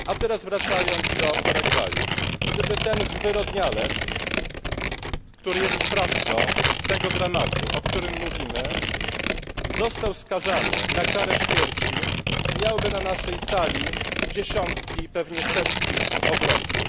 Teraz wracając do Paragwaju gdyby ten zwyrodnialec, który jest sprawcą tego dramatu, o którym mówimy, został skazany na karę śmierci, miałby na naszej sali dziesiątki, pewnie setki obrońców.